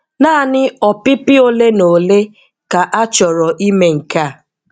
Naanị ọpịpị ole na ole ka achọrọ ime nke a.